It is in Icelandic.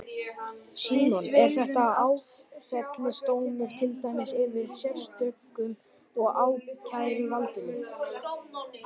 Símon: Er þetta áfellisdómur, til dæmis yfir sérstökum og ákæruvaldinu?